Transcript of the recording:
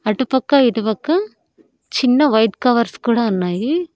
అటుపక్క ఇటుపక్క చిన్న వైట్ కవర్స్ కూడా ఉన్నాయి.